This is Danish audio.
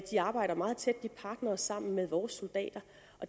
de arbejder meget tæt de er partnere sammen med vores soldater